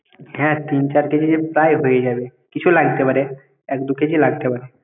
হ্যাঁ তিন চার KG প্রায় হয়ে যাবে কিছু লাগতে পারে এক দু KG লাগতে পারে।